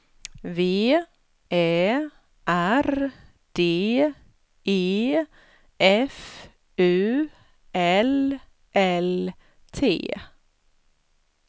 V Ä R D E F U L L T